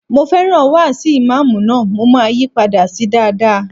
Mo fẹ́ràn wáàsi ìmáàmù náà, mo máa yí padà sí dáadáa.